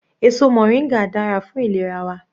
Èso moringa dára fún ìlera wa.